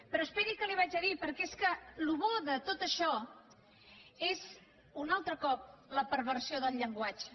però esperi el que li diré perquè és que el que té de bo tot això és un altre cop la perversió del llenguatge